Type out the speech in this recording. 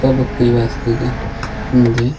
सब की वास्ती जा मिन्दे।